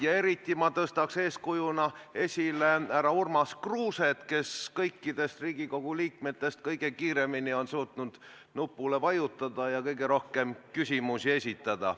Ja eriti ma toon eeskujuna esile härra Urmas Kruuset, kes kõikidest Riigikogu liikmetest kõige kiiremini on suutnud nupule vajutada ja kõige rohkem küsimusi esitada.